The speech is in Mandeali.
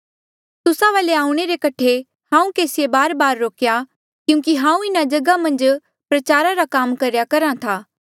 तुस्सा वाले आऊणें रे कठे हांऊँ केसीए बारबार रोक्या क्यूंकि हांऊँ इन्हा जगहा मन्झ प्रचार रा काम करेया करहा था